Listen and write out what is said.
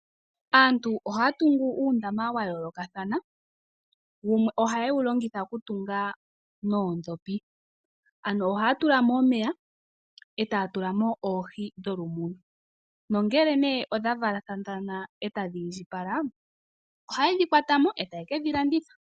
Aantu ohaya tungu uundama wa yoolokathana, wumwe ohaye wu longitha okutunga noodhopi. Amo ohaya tulamo omeya, etaye dhi tulamo, nongele odha valathana, ohaye dhi kwatamo e taye ke dhi landitha.